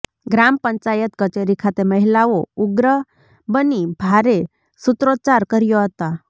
ગ્રામ પંચાયત કચેરી ખાતે મહિલાઓ ઉગ્ર બની ભારે સુત્રોચાર કર્યા હતા